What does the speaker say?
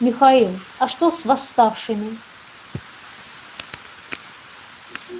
михаил а что с восставшими